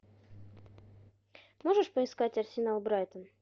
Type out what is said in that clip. можешь поискать арсенал брайтон